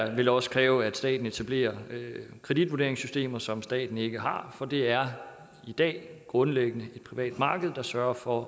vil også kræve at staten etablerer kreditvurderingssystemer som staten ikke har nu for det er i dag grundlæggende det private marked der sørger for